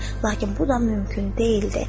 Lakin bu da mümkün deyildi.